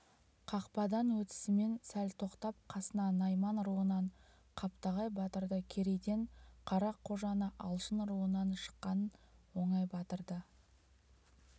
қақпадан өтісімен сәл тоқтап қасына найман руынан қаптағай батырды керейден қарақожаны алшын руынан шыққан оңай батырды